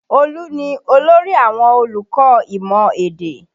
Olú ni olórí àwọn olùkọ́ imọ èdè